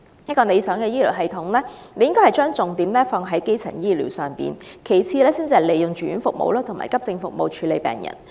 一個理想的醫療系統應把重點放在基層醫療上，利用住院服務及急症服務處理病人只屬其次。